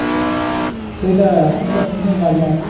সেইটাই এখন যা phone এর বাজার।